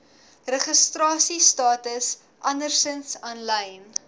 registrasiestatus andersins aanlyn